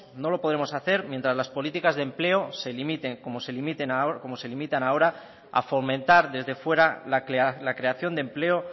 no lo podremos hacer mientras las políticas de empleo se limiten como se limitan ahora a fomentar desde fuera la creación de empleo